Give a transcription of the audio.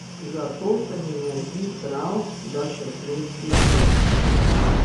Zato se mi ne zdi prav, da se klestijo sredstva.